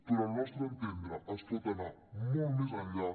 però al nostre entendre es pot anar molt més enllà